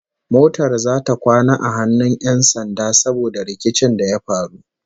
Motar zata kwana a hannun 'yan sanda saboda rikicin da ya faru